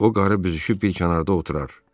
O qarı büzüşüb bir kənarda oturardı.